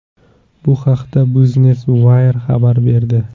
Bu haqda Business Wire xabar berdi .